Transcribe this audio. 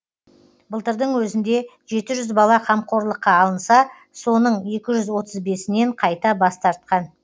былтырдың өзінде жеті жүз бала қамқорлыққа алынса соның екі жүз отыз бесінен қайта бас тартқан